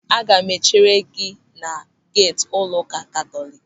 Aga m echere gị na geeti ụlọụka Katọlik.